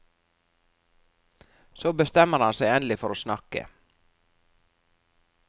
Så bestemmer han seg endelig for å snakke.